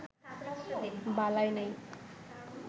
বালাই নেই